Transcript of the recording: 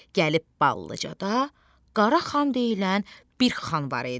Gəlib Ballıcada Qaraxan deyilən bir xan var idi.